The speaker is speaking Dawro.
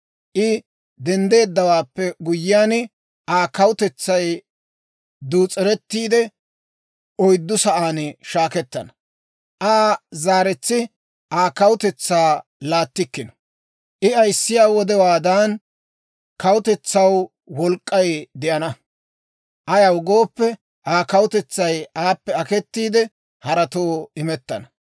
I denddeeddawaappe guyyiyaan, Aa kawutetsay duus'erettiide, oyddu sa'aan shaakettana. Aa zaaretsi Aa kawutetsaa laattikkino; I ayissiyaa wodewaadan kawutetsaw wolk'k'ay de'enna. Ayaw gooppe, Aa kawutetsay aappe aketiide, haratoo imettana.